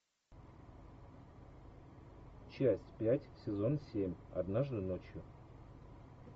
часть пять сезон семь однажды ночью